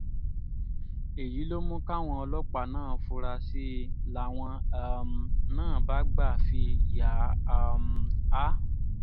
èyí ló mú káwọn ọlọ́pàá náà fura sí i làwọn um náà bá gbà fi yà um á